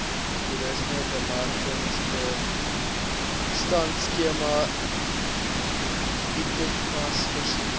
toerismebemarkingsbystandskema itmas voorsien